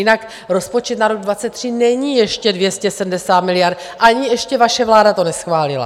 Jinak rozpočet na rok 2023 není ještě 270 miliard, ani ještě vaše vláda to neschválila.